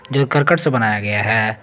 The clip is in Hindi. जो ये करकट से बनाया गया है।